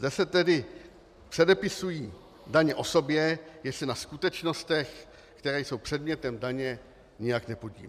Zde se tedy předepisují daně osobě, jež se na skutečnostech, které jsou předmětem daně, nijak nepodílí.